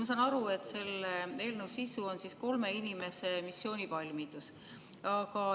Ma saan aru, et selle eelnõu sisu on kolme inimese missioonivalmidus.